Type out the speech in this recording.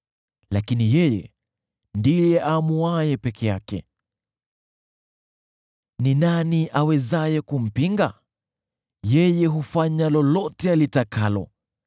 “Lakini yeye husimama peke yake; ni nani awezaye kumpinga? Yeye hufanya lolote atakalo.